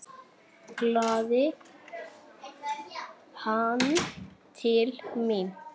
kallaði hann til mín.